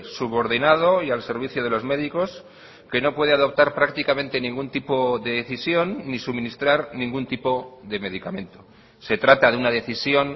subordinado y al servicio de los médicos que no puede adoptar prácticamente ningún tipo de decisión ni suministrar ningún tipo de medicamento se trata de una decisión